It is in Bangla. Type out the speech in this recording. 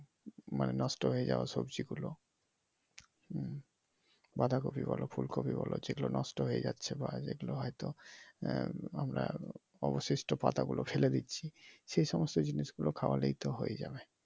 নষ্ট হইয়ে যাওয়া সবজি গুলো হম বাঁধা কপি বলো, ফুল কপি বলো যেগুলো নষ্ট হয়ে যাচ্ছে বা যেগুলো হয়তো আমরা অবশিষ্ট পাতাগুলো আমরা ফেলে দিচ্ছি সেসমস্ত জিনিস গুলো খাওয়ালেই তো হয়ে যাবে ।